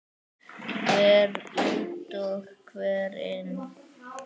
Hver út og hver inn?